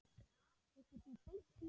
Hittir þú Beint í mark?